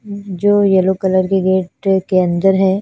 जो yellow colour के gate के अन्दर है।